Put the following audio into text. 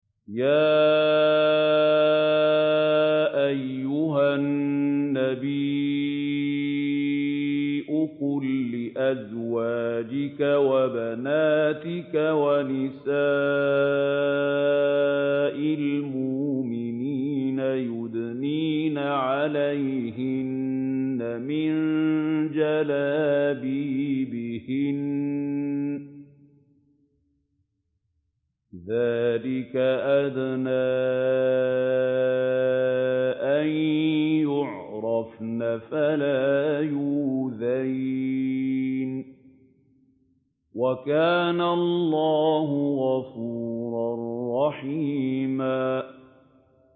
يَا أَيُّهَا النَّبِيُّ قُل لِّأَزْوَاجِكَ وَبَنَاتِكَ وَنِسَاءِ الْمُؤْمِنِينَ يُدْنِينَ عَلَيْهِنَّ مِن جَلَابِيبِهِنَّ ۚ ذَٰلِكَ أَدْنَىٰ أَن يُعْرَفْنَ فَلَا يُؤْذَيْنَ ۗ وَكَانَ اللَّهُ غَفُورًا رَّحِيمًا